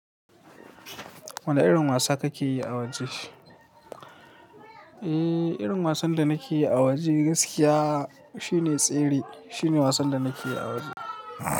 Wane irin wasa kake yi a waje? Eee, irin wasan da nake yi a waje gaskiya shine tsere. Shine wasan da nake yi a waje.